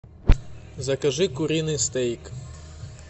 закажи куриный стейк